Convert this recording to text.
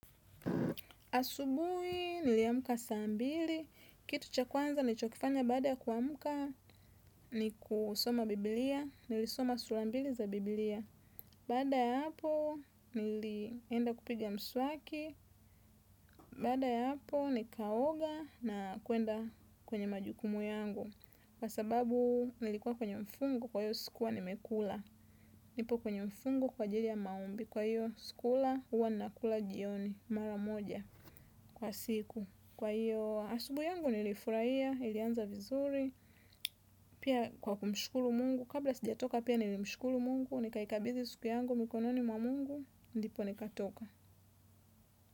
Asubuhi niliamka saa mbili, kitu cha kwanza nilicho kifanya baada kuamka ni kusoma biblia, nilisoma sura mbili za biblia. Baada ya hapo nilienda kupiga mswaki, bada ya hapo nikaoga na kwenda kwenye majukumu yangu. Kwa sababu nilikuwa kwenye mfungo kwa hiyo sikua nimekula. Nipo kwenye mfungo kwa ajili ya maombi kwa hiyo sikula huwa nakula jioni mara moja kwa siku. Kwa hiyo asubuhi yangu nilifurahia, ilianza vizuri, pia kwa kumshukuru mungu, kabla sijatoka pia nilimshukuru mungu, nikaikabidhi siku yangu mikononi mwa mungu, ndipo nikatoka.